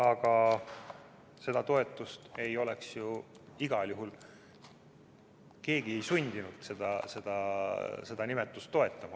Aga seda nime ei oleks igal juhul keegi sundinud toetama.